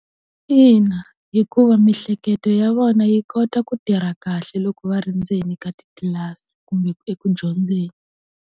Ina, hikuva miehleketo ya vona yi kota ku tirha kahle loko va ri ndzeni ka titlilasi kumbe eku dyondzeni.